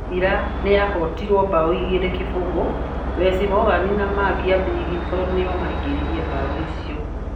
Sevilla nĩ yahootirwo bao 2-0, Wes Morgan na Marc Albrighton nĩo maingĩririe bao icio.